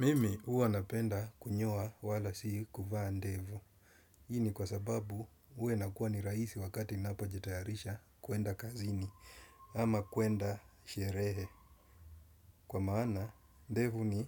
Mimi uwa napenda kunyoa wala si kuvaa ndevu. Hii ni kwa sababu huwa nakuwa ni raisi wakati napo jitayarisha kuenda kazini ama kuenda sherehe. Kwa maana ndevu ni